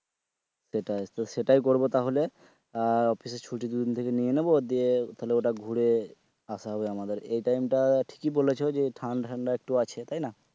সেটাই করব তাহলে আহ অফিসের ছুটি দুদিন থেকে নিয়ে নেব দিয়ে তাহলে ঘুরে আসা হবে আমাদের এই time টা ঠিকই বলেছ যে ঠান্ডা ঠান্ডা একটু আছে তাই না?